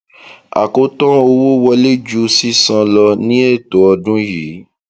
àkótán owó wọlé ju sísan lọ ní ètò ọdún yìí